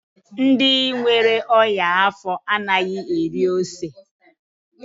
Ndị nwere ọnya afọ anaghị eri ose.